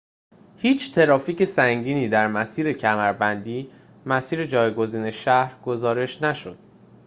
هیچ ترافیک سنگینی در مسیر کمربندی مسیر جایگزین شهر گزارش نشد